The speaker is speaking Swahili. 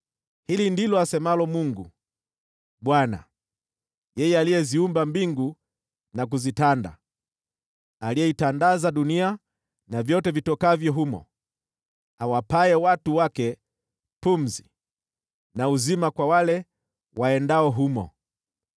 Hili ndilo asemalo Mungu, Bwana , yeye aliyeziumba mbingu na kuzitanda, aliyeitandaza dunia na vyote vitokavyo humo, awapaye watu wake pumzi, na uzima kwa wale waendao humo: